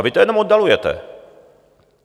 A vy to jenom oddalujete.